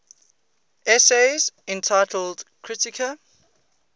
essays entitled kritika